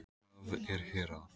Hvað er hér að?